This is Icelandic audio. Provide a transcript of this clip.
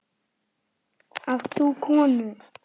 Átt þú konu?